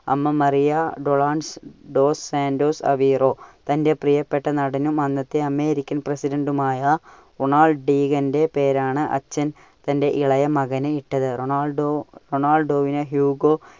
അമ്മ മറിയ ഡോണാസ് ~dos Santos Aveiro. തന്റെ പ്രിയപ്പെട്ട നടനും അന്നത്തെ അമേരിക്കൻ പ്രെസിഡന്റുമായ റൊണാൾഡ്‌ ഡീഗന്റെ പേരാണ് അച്ഛൻ തന്റെ ഇളയ മകന് ഇട്ടത്. റൊണാൾഡോ~ റൊണാൾഡോവിനെ ഹ്യൂഗോ